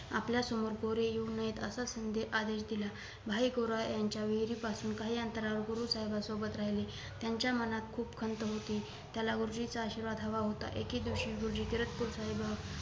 आपल्यासमोर गोरे येऊ नयेत असा आदेश केला भाई गोरा यांच्या विहिरीपासून काही अंतरावर गुरु साहेबांसोबत राहिले त्यांच्या मनात खूप खंत होती त्याला गुरुजींचा आशीर्वाद हवा होता एके दिवशी गुरुजी किरतपूर साहेब